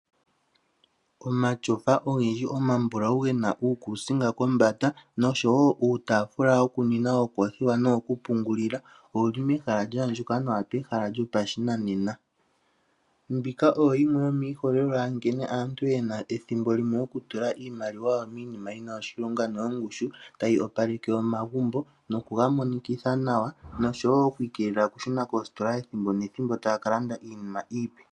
Omatyofa ogendji omambulau ge na uukusinga kombanda noshowo uutaafula wokuninwa ookoothiwa nowokupungulila owu li mehala lya andjuka nawa lyopashinanena. Mbika oyo yimwe yomiiholelwa yankene aantu ye na ethimbo limwe okutula iimaliwa yawo miinima yi na oshilonga noyongushu otayi opaleke omagumbo nokuga monikitha nawa noshowo oku ikeelela okushuna koositola ethimbo nethimbo taya ka landa iinima iipe.